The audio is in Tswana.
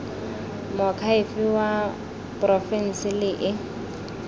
moakhaefe wa porofense le e